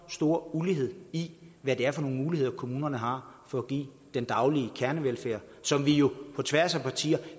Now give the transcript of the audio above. stor ulighed i hvad det er for nogle muligheder kommunerne har for at give den daglige kernevelfærd som vi jo på tværs af partier